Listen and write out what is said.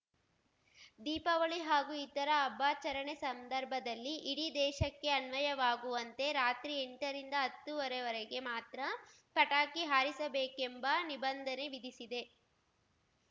ದೀಪಾವಳಿ ಹಾಗೂ ಇತರ ಹಬ್ಬಾಚರಣೆ ಸಂದರ್ಭದಲ್ಲಿ ಇಡೀ ದೇಶಕ್ಕೆ ಅನ್ವಯವಾಗುವಂತೆ ರಾತ್ರಿ ಎಂಟರಿಂದ ಹತ್ತೂವರೆ ವರೆಗೆ ಮಾತ್ರ ಪಟಾಕಿ ಹಾರಿಸಬೇಕೆಂಬ ನಿಬಂಧನೆ ವಿಧಿಸಿದೆ